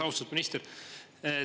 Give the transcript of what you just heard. Austatud minister!